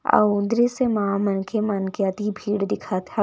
अउ दृश्य मा मनखे मन के अति भीड़ दिखत हवय --